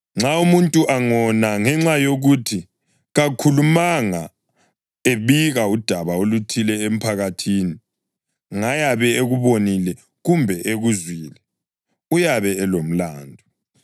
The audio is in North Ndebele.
“ ‘Nxa umuntu angona ngenxa yokuthi kakhulumanga ebika udaba oluthile emphakathini ngayabe ekubonile kumbe ekuzwile, uyabe elomlandu.